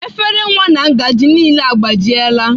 Efere nwa na ngaji niile agbajiela.